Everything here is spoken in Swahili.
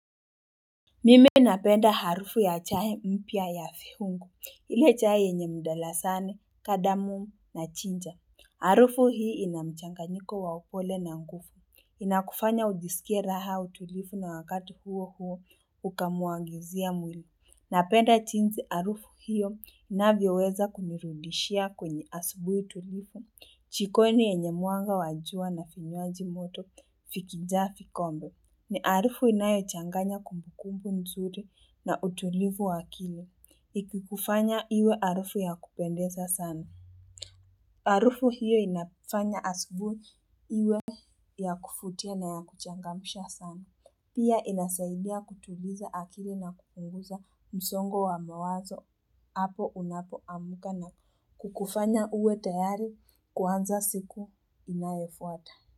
Mimi napenda harufu ya chai mpya ya viungu. Ile chai yenye mdalasani, kadamu na ginger. Harufu hii ina mchanganyiko wa upole na nguvu. Inakufanya ujisikie raha utulivu na wakati huo huo ukamuangizia mwili. Napenda jinsi harufu hiyo inavyoweza kunirudishia kwenye asubuhi tulivu. Jikoni yenye mwanga wa jua na vinywaji moto vikijaa vikombe. Ni harufu inayochanganya kumbukumbu nzuri na utulivu wa akili. Ikikufanya iwe harufu ya kupendeza sana. Harufu hiyo inafanya asubuhi iwe ya kuvutia na ya kuchangamsha sana. Pia inasaidia kutuliza akili na kupunguza msongo wa mawazo. Apo unapo amka na kukufanya uwe tayari kuanza siku inayofuata.